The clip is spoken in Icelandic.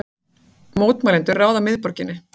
Mótmælendur ráða miðborginni